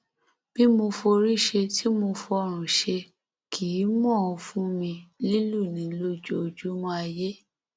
bí mo forí ṣe tí mo fọrùn ṣe kì í mọ ọn fún mi lílù ni lójoojúmọ ayé